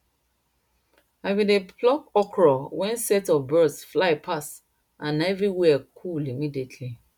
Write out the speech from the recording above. i bin dey pluck okro wen set of birds fly pass and everywhere cool immediately